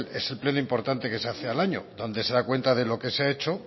es el pleno importante que se hace al año donde se da cuenta de lo que se ha hecho